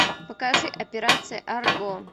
покажи операция арго